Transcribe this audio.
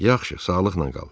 Yaxşı, sağlıqla qal.